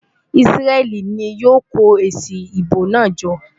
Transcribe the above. Isreal ni yóò kó èsì ìbò náà jọ?